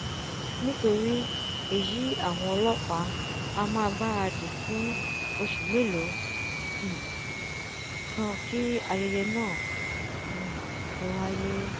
nítorí èyí àwọn ọlọ́pàá a máà gbáradì fún oṣù mélòó um kan kí ayẹyẹ náà um tó wáyé